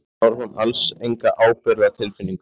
Ég sýndi á þessum árum alls enga ábyrgðartilfinningu.